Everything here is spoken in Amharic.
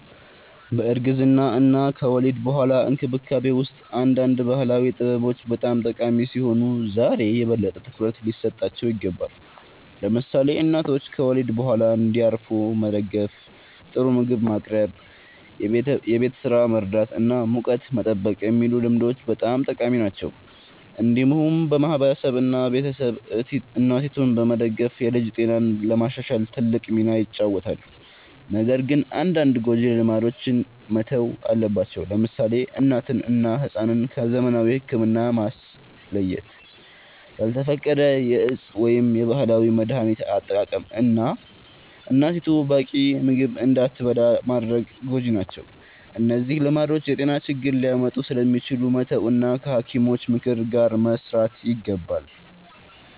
በእርግዝና እና ከወሊድ በኋላ እንክብካቤ ውስጥ አንዳንድ ባህላዊ ጥበቦች በጣም ጠቃሚ ሲሆኑ ዛሬ የበለጠ ትኩረት ሊሰጣቸው ይገባል። ለምሳሌ እናቶች ከወሊድ በኋላ እንዲያርፉ መደገፍ፣ ጥሩ ምግብ ማቅረብ፣ የቤት ስራ መርዳት እና ሙቀት መጠበቅ የሚሉ ልምዶች በጣም ጠቃሚ ናቸው። እንዲሁም ማህበረሰብ እና ቤተሰብ እናቲቱን በመደገፍ የልጅ ጤናን ለማሻሻል ትልቅ ሚና ይጫወታሉ። ነገር ግን አንዳንድ ጎጂ ልማዶች መተው አለባቸው። ለምሳሌ እናትን እና ሕፃንን ከዘመናዊ ሕክምና ማስለየት፣ ያልተፈቀደ የእፅ ወይም የባህላዊ መድሀኒት አጠቃቀም፣ እና እናቲቱ በቂ ምግብ እንዳትበላ ማድረግ ጎጂ ናቸው። እነዚህ ልማዶች የጤና ችግር ሊያመጡ ስለሚችሉ መተው እና ከሐኪሞች ምክር ጋር መስራት ይገባል።